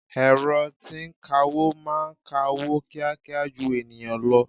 Ẹ̀rọ tí ń kawó máa ń ka owó kíákíá ju ènìyàn lọ.